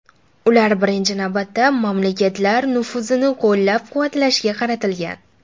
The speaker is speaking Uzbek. Ular, birinchi navbatda, mamlakatlar nufuzini qo‘llab-quvvatlashga qaratilgan.